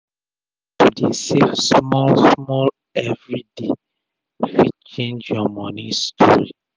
to dey save small small everi day fit change ur moni story